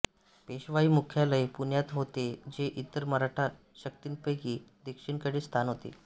पेशवाई मुख्यालय पुण्यात होते जे इतर मराठा शक्तींपैकी दक्षिणेकडील स्थान होते